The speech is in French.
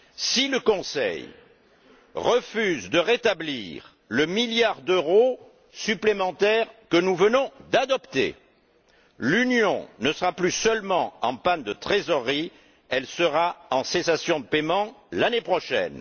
Si le Conseil refuse de rétablir le milliard d'euros supplémentaire que nous venons d'adopter, l'Union ne sera plus seulement en panne de trésorerie, elle sera en cessation de paiement l'année prochaine.